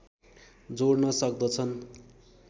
जोड्न सक्दछन्